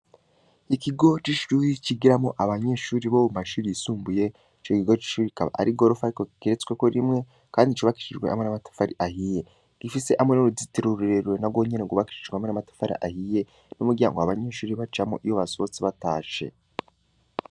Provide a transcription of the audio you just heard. Ikigo c'ishuri, cigiramwo abanyeshuri bo mu mashuri yisumbuye, ico kigo c'ishuri kikaba ari igorofa ariko kigeretsweko rimwe, kandi cubakishijwe hamwe n'amatafari ahiye; gifise hamwe n'uruzitiro rurerure na rwonyene rwubakishijwe hamwe n'amatafari ahiye, n'umuryango abanyeshuri bacamwo, iyo basohotse batashe.